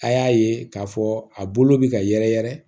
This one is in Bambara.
A y'a ye k'a fɔ a bolo bɛ ka yɛrɛyɛrɛ